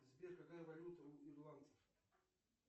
сбер какая валюта у ирландцев